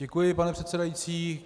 Děkuji, pane předsedající.